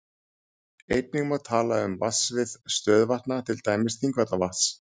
Einnig má tala um vatnasvið stöðuvatna, til dæmis Þingvallavatns.